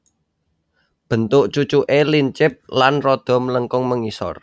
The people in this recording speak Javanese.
Bentuk cucuké lincip lan rada mlengkung mengisor